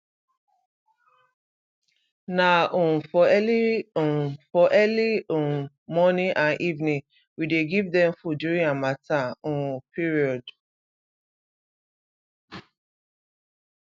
na um for early um for early um morning and evening we dey give dem food during harmattan um period